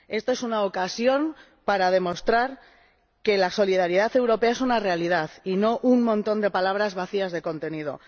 Esta es una ocasión para demostrar que la solidaridad europea es una realidad y no un montón de palabras vacías de contenido